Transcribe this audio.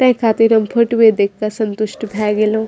ते खातिर हम फोटूवे देख के संतुष्ट भए गेलो।